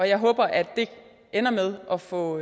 jeg håber at det ender med at få